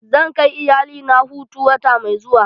Zan kai iyalina hutu wata mai zuwa.